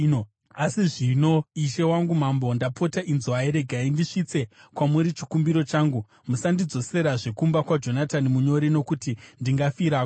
Asi zvino ishe wangu mambo, ndapota inzwai. Regai ndisvitse kwamuri chikumbiro changu: Musandidzoserazve kumba kwaJonatani munyori nokuti ndingafirako.”